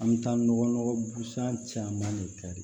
An bɛ taa nɔgɔ busan caman de kari